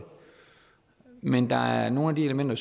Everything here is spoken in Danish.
men der er nogle elementer